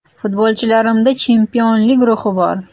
Futbolchilarimda chempionlik ruhi bor.